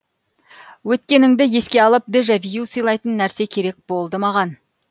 өткеніңді еске алып дежавю сыйлайтын нәрсе керек болды маған